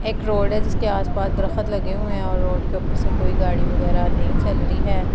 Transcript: एक रोड है जिसके आसपास दरखत लगे हुए हैं और रोड के ऊपर से कोई गाड़ी वगैरह नहीं चल रही है।